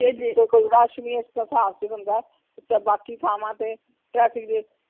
ਸਾਫ ਹੁੰਦਾ ਤੇ ਬਾਕੀ ਥਾਵਾਂ ਤੇ traffic ਦੇ